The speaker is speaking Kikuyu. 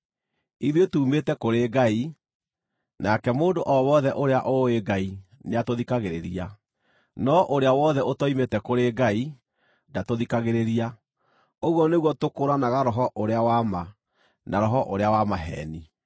Ithuĩ tuumĩte kũrĩ Ngai, nake mũndũ o wothe ũrĩa ũũĩ Ngai nĩatũthikagĩrĩria; no ũrĩa wothe ũtoimĩte kũrĩ Ngai ndatũthikagĩrĩria. Ũguo nĩguo tũkũũranaga Roho ũrĩa wa ma, na roho ũrĩa wa maheeni.